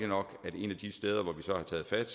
nok at et af de steder hvor vi så har taget fat